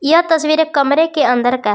यह तस्वीर एक कमरे के अंदर का है।